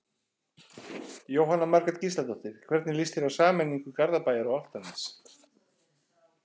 Jóhanna Margrét Gísladóttir: Hvernig lýst þér á sameiningu Garðabæjar og Álftanes?